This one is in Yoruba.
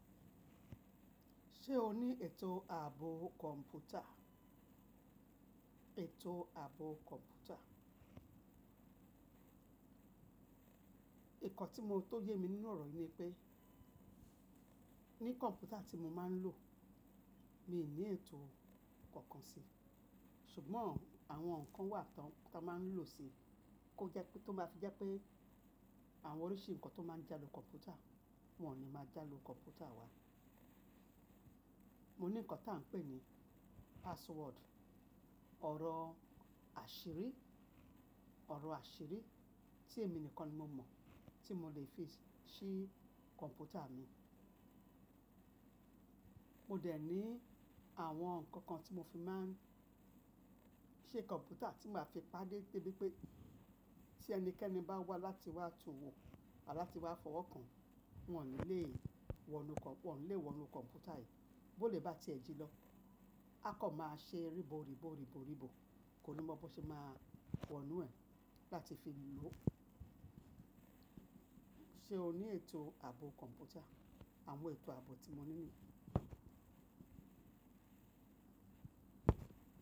Ṣé o ní ètò ààbò kọ̀ǹpútà? Ètò ààbò kọ̀ǹpútà. Ìkọ́ tí mo tó yé mi nínú ọ̀rọ̀ yìí ni pé, ní kọ̀ǹpútà tí mo máa ń lò, mi ò ní ètò kankan sí. Ṣùgbọ́n, àwọn ǹkan wà tó máa ń lò sí, kó jẹ́ pé tó bá fi jẹ́ pé àwọn oríṣi ǹkan tó máa ń jale kọ̀ǹpútà, wọ́n ò ní máa jàle kọ̀ǹpútà wa. Mo ní ǹkan tí a ń pè ní password, ọ̀rọ̀ àṣírí, ọ̀rọ̀ àṣírí tí èmi nìkan ni mo mọ̀, tí mo lè fi ṣí kọ̀ǹpútà mi. Mo dẹ̀ ní àwọn ǹkan kan tí mo fi máa ń ṣe kọ̀ǹpútà tí màá fi pàdé pé bí pé tí ẹnikẹ́ni bá wá láti wá tu wò làti wá fọwọ́ kan, wọ́n ò ní lè wọnú kọ̀ǹpútà yìí. Bó lẹ bá ti ẹ̀ jí lọ, a kọ̀ máa ṣe rìbò, rìbò, rìbò, rìbò, kò ní mọ bó ṣe máa wọnú ẹ̀ láti fi lò. Ṣé o ní ètò ààbò kọ̀ǹpútà? Àwọn ètò ààbò tí mo ní nìyíí.